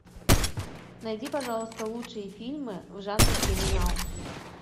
найди пожалуйста лучшие фильмы в жанре криминал